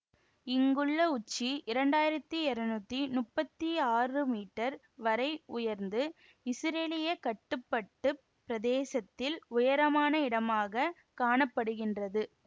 இங்குள்ள உச்சி இரண்டு ஆயிரத்தி இருநூற்றி முப்பத்தி ஆறு மீட்டர் வரை உயர்ந்து இசுரேலிய கட்டுப்பட்டுப் பிரதேசத்தில் உயரமான இடமாக காண படுகின்றது